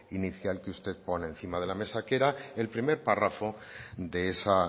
inicial que usted pone encima de la mesa que era el primer párrafo de esa